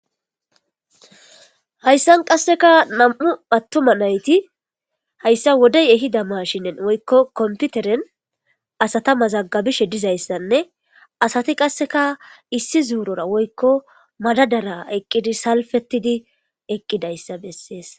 Hayssan qasseka nam7u attuma nayti hayssa wodey ehida mashinen woykko komppiteren asata mazaggabishe dizayssanne asati qasseka issi zuurora woykko madadara eqqidi salfettidi eqqidayssa bessees.